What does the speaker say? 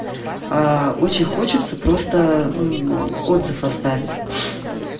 очень хочется просто отзыв оставить